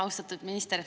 Austatud minister!